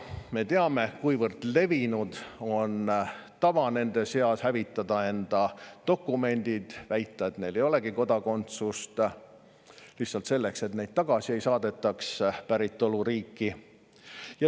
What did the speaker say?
Me teame, kuivõrd levinud on nende seas tava hävitada enda dokumendid, väita, et neil ei olegi kodakondsust, lihtsalt selleks, et neid ei saadetaks tagasi päritoluriiki.